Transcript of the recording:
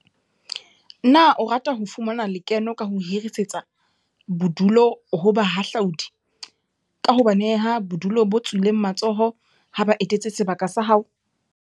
Na o rata ho fumana le keno ka ho hirisetsa bodulu ho bahahlaudi, ka ho ba neha bodulo bo tswileng matsoho ha ba etetse sebaka sa hao?